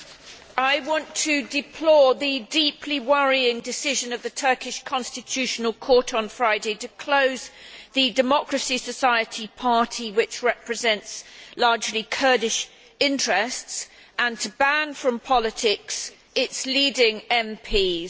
Mr President, I want to deplore the deeply worrying decision of the Turkish Constitutional Court on Friday to close the Democracy Society Party, which represents largely Kurdish interests, and to ban from politics its leading MPs.